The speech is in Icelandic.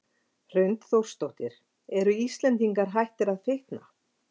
Hrund Þórsdóttir: Eru Íslendingar hættir að fitna?